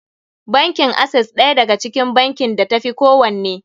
Bankin Access ɗaya daga cikin bankin da ta fi kowanne.